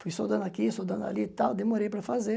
Fui soldando aqui, soldando ali e tal, demorei para fazer,